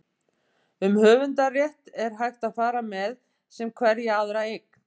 um höfundarrétt er hægt að fara með sem hverja aðra eign